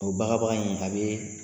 O baga baga in a bɛ